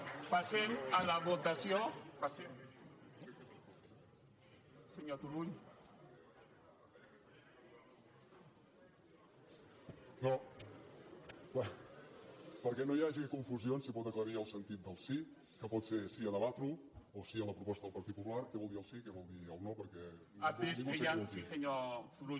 no perquè no hi hagi confusions si pot aclarir el sentit del sí que pot ser sí a debatre ho o sí a la proposta del partit popular què vol dir el sí i què vol dir el no perquè ningú s’equivoqui